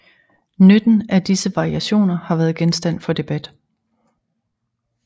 Nytten af disse variationer har været genstand for debat